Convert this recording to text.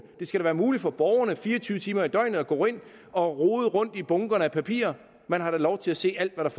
det skal være muligt for borgerne fire og tyve timer i døgnet at gå ind og rode rundt i bunkerne af papir man har da lov til at se alt hvad